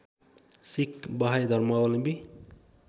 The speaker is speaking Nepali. सिख बहाई धर्मावलम्बी